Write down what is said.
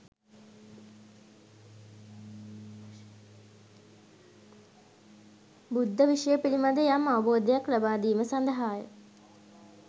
බුද්ධ විෂය පිළිබඳ යම් අවබෝධයක් ලබාදීම සඳහාය